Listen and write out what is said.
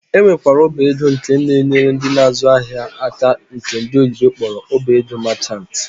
Ọ nwekwara ọba ego nke na-enyere ndị na-azụ ahịa aka nke ndị oyibo kpọrọ ọba ego merchant.